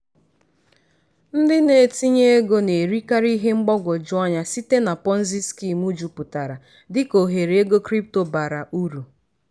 ndị na-etinye ego na-erikarị ihe mgbagwoju anya site na ponzi scheme juputara dika ohere ego crypto bara uru.